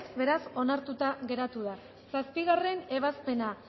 beraz onartuta geratu da zazpigarrena ebazpena